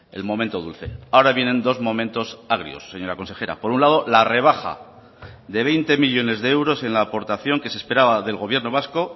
el momento dulce ahora vienen dos momentos agrios señora consejera por un lado la rebaja de veinte millónes de euros en la aportación que se esperaba del gobierno vasco